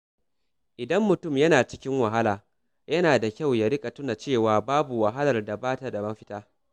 Idan mutum yana cikin wahala, yana da kyau ya riƙa tuna cewa babu wahalar da ba ta da mafita.